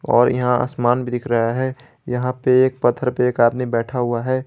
और यहां आसमान भी दिख रहा है यहां पे एक पत्थर पे एक आदमी बैठा हुआ है।